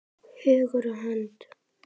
Hugur og hönd!